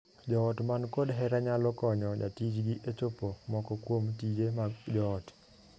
Joot man kod hera nyalo konyo jatijgi e chopo moko kuom tije mag joot.